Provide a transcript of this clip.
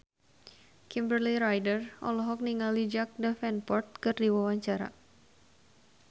Kimberly Ryder olohok ningali Jack Davenport keur diwawancara